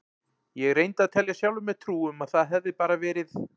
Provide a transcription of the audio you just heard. Ég reyndi að telja sjálfum mér trú um að það hefði bara verið